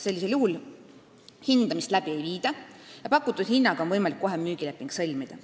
Sellisel juhul hindamist läbi ei viida ja pakutud hinnaga on võimalik kohe müügileping sõlmida.